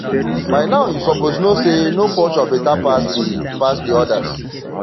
by now you suppose know say no culture beta pass de pass de others